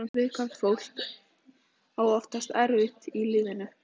Viðkvæmt fólk á oftast erfitt í lífinu.